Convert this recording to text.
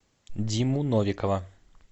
диму новикова